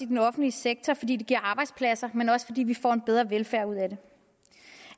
den offentlige sektor fordi det giver arbejdspladser men også fordi vi får en bedre velfærd ud af det